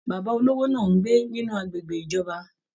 Bàbá olówó náà n gbé nínú agbègbè ìjọba.